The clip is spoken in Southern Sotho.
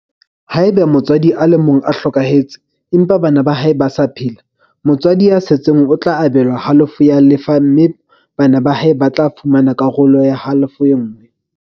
Haeba motswadi a le mong o hlokahetse, empa bana ba hae ba sa phela, motswadi ya setseng o tla abelwa halofo ya lefa mme bana ba hae ba tla fumana halofo e nngwe.